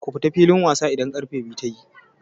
Ku fito filin wasa idan karfe biyu tayi!